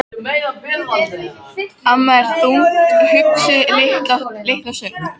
Amma er þungt hugsi litla stund.